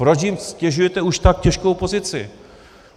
Proč jim ztěžujete už tak těžkou pozici?